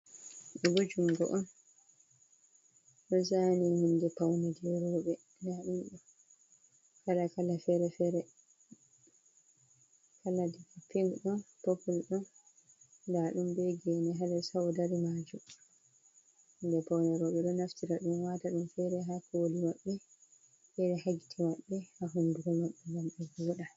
Ɗo bo jungo on. Ɗo zaani hunɗe paune jei rowɓe. Nda ɗum ɗo, fere-fere fere-fere. Kala pink ɗon popul ɗon, ndaa ɗum be gene ha les ha o dari majum. Hunde paune ɗo ɓe ɗo naftira ɗum, waata ɗum fere ha koli maɓɓe, fere ha gite maɓɓe, ha hunduko maɓɓe ngam ɓe wooɗa